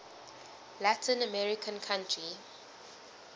latin american country